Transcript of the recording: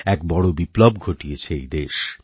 এক বড় বিপ্লব ঘটিয়েছে এই দেশ